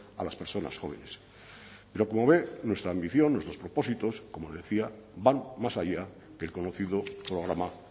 a las personas jóvenes pero como ve nuestra ambición nuestros propósitos como decía van más allá que el conocido programa